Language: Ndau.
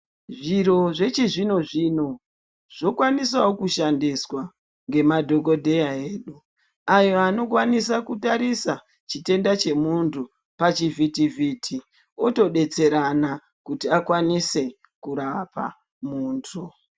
Zviro zvechi zvino zvino zvokwanisawo kushandiswa ngemadhokodheya edu, ayo anokwanisa kutarisa chitenda chemunthu pachivhiti vhiti otodetserana kuti akwanise kurapa munthu.